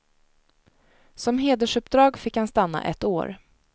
Som hedersuppdrag fick han stanna ett år.